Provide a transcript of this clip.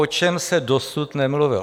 O čem se dosud nemluvilo?